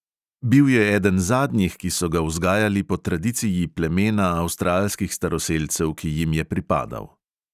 Bil je eden zadnjih, ki so ga vzgajali po tradiciji plemena avstralskih staroselcev, ki jim je pripadal.